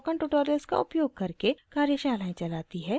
spoken tutorials का उपयोग करके कार्यशालाएं चलाती है